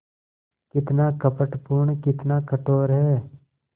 कितना कपटपूर्ण कितना कठोर है